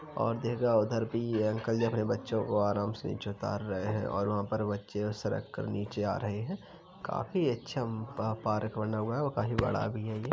और देखो उधर भी अंकल जी अपने बच्चों को आराम से नीचे उतार रहे हैं और वहाँ पर बच्चे सरक कर नीचे आ रहे है काफी अच्छा पा पार्क बना है और काफी बड़ा भी है ये --